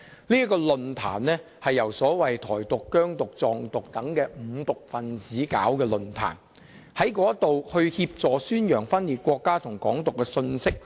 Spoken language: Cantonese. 這個論壇是由所謂"台獨"、"疆獨"、"藏獨"等"五獨"分子合辦，協助宣揚分裂國家和"港獨"的信息。